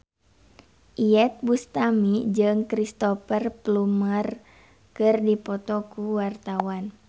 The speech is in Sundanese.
Iyeth Bustami jeung Cristhoper Plumer keur dipoto ku wartawan